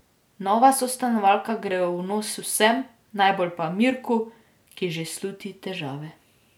Nova sostanovalka gre v nos vsem, najbolj pa Mirku, ki že sluti težave.